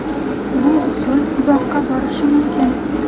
Bu usul uzoqqa borishi mumkin.